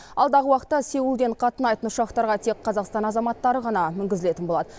алдағы уақытта сеулден қатынайтын ұшақтарға тек қазақстан азаматтары ғана мінгізілетін болады